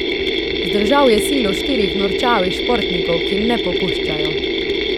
Zdržal je silo štirih norčavih športnikov, ki ne popuščajo.